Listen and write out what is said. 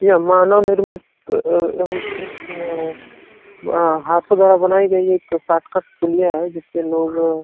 यह मानव निर्मित अ- अम्म- हाथों द्वारा बनाई गई एक शार्टकट पुलिया है। जिसे लोग --